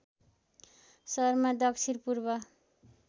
शर्मा दक्षिण पूर्व